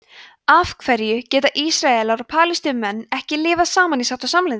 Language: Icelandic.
af hverju geta ísraelar og palestínumenn ekki lifað saman í sátt og samlyndi